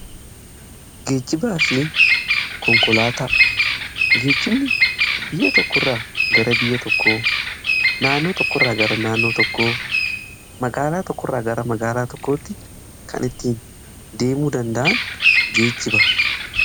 Geejjibaa fi konkolaataa geejibni biyya tokko irraa gara biyya tokko naannoo tokkoo magaalaa tokko irraa gara magaalaa tokkootti kan ittiin deemuu danda'an geejjibanidha.